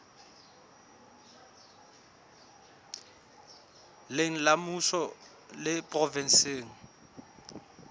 leng la mmuso le provenseng